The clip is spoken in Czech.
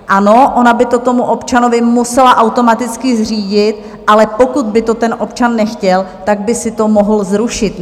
Ano, ono by to tomu občanovi muselo automaticky zřídit, ale pokud by to ten občan nechtěl, tak by si to mohl zrušit.